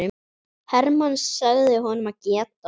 Hermann sagði honum að geta.